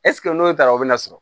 n'o taara o bɛna sɔrɔ